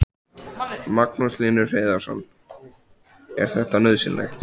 Magnús Hlynur Hreiðarsson: Er þetta nauðsynlegt?